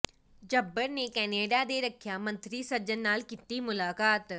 ਝੱਬਰ ਨੇ ਕੈਨੇਡਾ ਦੇ ਰੱਖਿਆ ਮੰਤਰੀ ਸੱਜਣ ਨਾਲ ਕੀਤੀ ਮੁਲਾਕਾਤ